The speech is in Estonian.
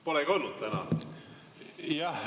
Polegi olnud täna.